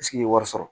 ye wari sɔrɔ